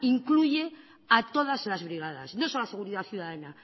incluye a todas las brigadas nosolo la seguridad ciudadana